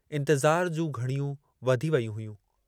इंतिज़ार जूं घड़ियूं वधी वेयूं हुयूं।